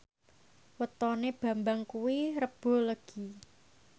wetone Bambang kuwi Rebo Legi